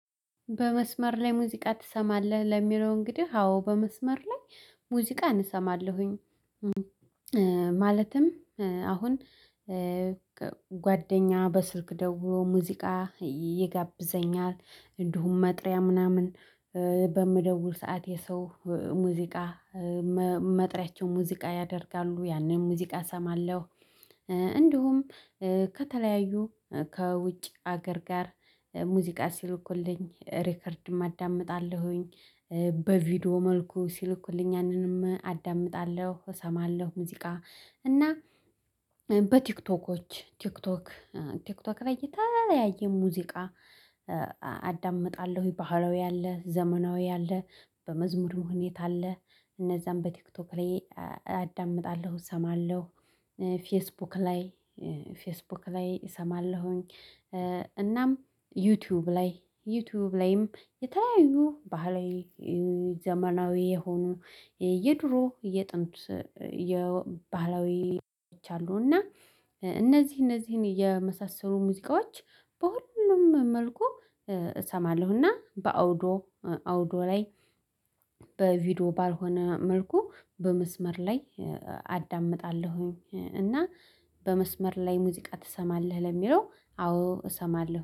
በመስመር ላይ ሙዚቃ ትሰማለህ ለሚለው እንግዲህ አዎ በመስመር ላይ ሙዚቃ እሰማለሁኝ። ማለትም አሁን ጓደኛ በስልክ ደውሎ ሙዚቃ ይጋብዘኛል እንዲሁም መጥሪያ ምናምን በምደውል ሰዓት የሰው ሙዚቃ መጥሪያቸው ሙዚቃ ያደርጋሉ። ያንን ሙዚቃ እሰማለሁ። እንዲሁም ከተለያዩ ከውጭ ሀገር ጋር ሙዚቃ ሲልኩልኝ ሪከርድም አዳምጣለሁኝ። በቪዲዮ መልኩ ሲልኩልኝ ያንንም አዳምጣለሁ እሰማለሁ ሙዚቃ እና በቲክቶኮች ቲክቶክ ቲክቶክ ላይ የተለያየ ሙዚቃ አዳምጣለሁ ባህላዊ አለ ዘመናዊ አለ በመዝሙር ሁኔታ አለ እነዛን በቲክቶክ ላይ አዳምጣለሁ፤ እሰማለሁ ፌስቡክ ላይ ፌስቡክ ላይ እሰማለሁኝ እናም ዩቲዩብ ላይ ዩቲዩብ ላይም የተለያዩ ባህላዊ፤ ዘመናዊ፤ የሆኑ የየድሮ የጥንት ባህላዊዎች አሉ እና እነዚህ እነዚህን የመሳሰሉ ሙዚቃዎች በሁሉም መልኩ እሰማለሁ እና በአውዶ አውዶ ላይ በቪዲዮ ባልሆነ መልኩ በመስመር ላይ አዳምጣለሁኝ። እና በመስመር ላይ ሙዚቃ ትሰማለህ ለሚለው አዎ እሰማለሁ።